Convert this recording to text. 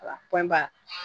Wala pɔnyi bari